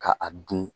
Ka a dun